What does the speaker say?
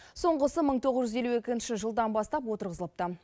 соңғысы мың тоғыз жүз елу екінші жылдан бастап отырғызылыпты